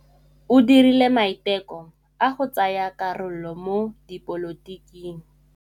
O dirile maitekô a go tsaya karolo mo dipolotiking.